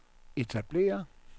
etablere